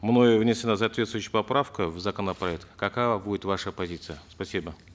мною внесена соответствующая поправка в законопроект какова будет ваша позиция спасибо